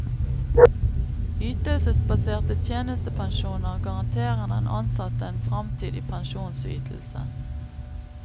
Ytelsesbaserte tjenestepensjoner garanterer den ansatte en fremtidig pensjonsytelse.